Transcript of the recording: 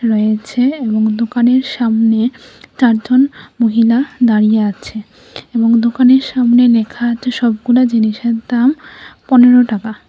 রয়েছে এবং দোকানের সামনে চারজন মহিলা দাড়িয়ে আছে এবং দোকানের সামনে লেখা আছে সবগুলা জিনিসের দাম পনেরো টাকা।